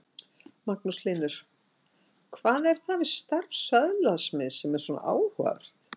Magnús Hlynur: Hvað er það við starf söðlasmiðsins sem er svona áhugavert?